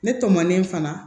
Ne tɔmanen fana